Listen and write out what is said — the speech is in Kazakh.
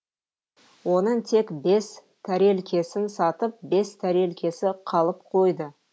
оның тек бес тәрелкесін сатып бес тәрелкесі қалып қойды